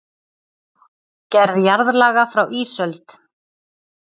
Gerð jarðlaga frá ísöld